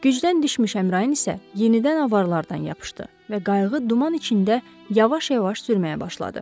Gücdən düşmüş Əmrain isə yenidən avarlardan yapışdı və qayıq duman içində yavaş-yavaş sürməyə başladı.